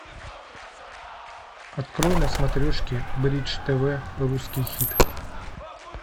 открой на смотрешке бридж тв русский хит